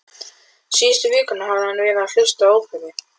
Síðustu vikurnar hafði hann verið að hlusta á óperu